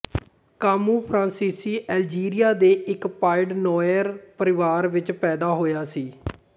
Camus ਫਰਾਂਸੀਸੀ Algeria ਦੇ ਇੱਕ ਪਾਇਡਨੋਇਰ ਪਰਿਵਾਰ ਵਿੱਚ ਪੈਦਾ ਹੋਇਆ ਸੀ